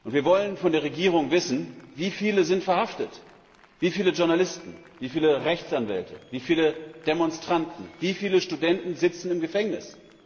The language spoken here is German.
Wir wollen von der Regierung wissen, wie viele verhaftet worden sind. Wie viele Journalisten, wie viele Rechtsanwälte, wie viele Demonstranten, wie viele Studenten sitzen im Gefängnis?